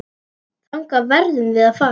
Þangað verðum við að fara.